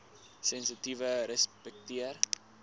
sensitiefrespekteer